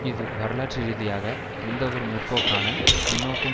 இது வரலாற்று ரீதியாக எந்தவொரு முற்போக்கான முன்னோக்கும்